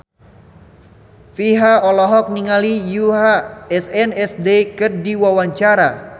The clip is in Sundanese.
Virzha olohok ningali Yoona SNSD keur diwawancara